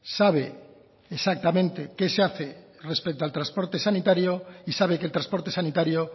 sabe exactamente qué se hace respecto al transporte sanitario y sabe que el transporte sanitario